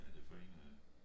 Hvad det for en øh